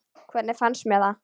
Hvernig fannst mér það?